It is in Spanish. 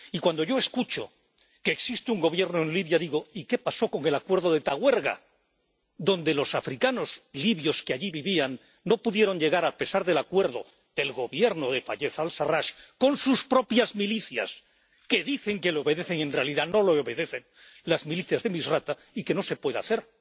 Y cuando yo escucho que existe un Gobierno en Libia, digo y qué pasó con el acuerdo de Tauerga, adonde los africanos libios que allí vivían no pudieron volver, a pesar del acuerdo del Gobierno de Fayez al Sarrach con sus propias milicias, que dicen que le obedecen y, en realidad, no le obedecen —las milicias de Misrata—, y que no se puede hacer.